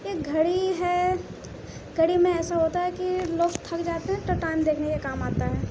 ये घड़ी है। घड़ी में ऐसा होता है कि लोग थक जाते हैं तो टाइम देखने का काम आता है।